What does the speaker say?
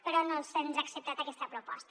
però no se’ns ha acceptat aquesta proposta